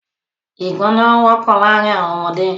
Ìgbọná wọ́pọ̀ láàrin àwọn ọmọdé.